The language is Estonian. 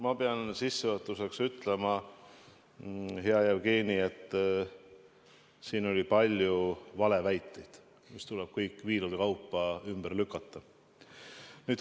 Ma pean sissejuhatuseks ütlema, hea Jevgeni, et siin oli palju valeväiteid, mis tuleb kõik viilude kaupa ümber lükata.